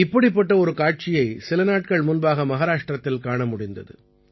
இப்படிப்பட்ட ஒரு காட்சியை சில நாட்கள் முன்பாக மஹாராஷ்டிரத்தில் காண முடிந்தது